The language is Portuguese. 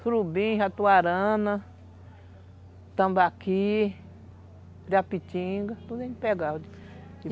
Surubim, jatuarana, tambaqui, japitinga, tudo a gente pegava.